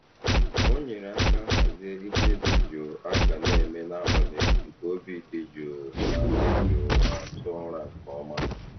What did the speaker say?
O nyere aka hazie ihe dị jụụ a ga na-eme n'abalị nke obi dị jụụ ma dị jụụ ma tụọ ụra nke ọma.